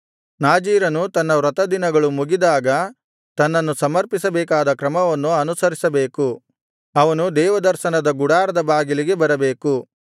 ನಾಜೀರನು ತನ್ನ ವ್ರತದಿನಗಳು ಮುಗಿದಾಗ ತನ್ನನ್ನು ಸಮರ್ಪಿಸಬೇಕಾದ ಕ್ರಮವನ್ನು ಅನುಸರಿಸಬೇಕು ಅವನು ದೇವದರ್ಶನದ ಗುಡಾರದ ಬಾಗಿಲಿಗೆ ಬರಬೇಕು